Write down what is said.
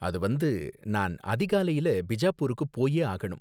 அது வந்து, நான் அதிகாலையில பிஜாப்பூருக்கு போயே ஆகணும்.